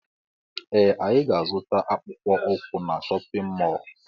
Ee anyị ga -azuta akpụkpọ ukwu na shóppin mol